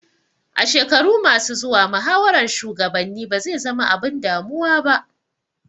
A shekaru ma su zuwa muhawaran shugabanni ba zai zama abun damuwa ba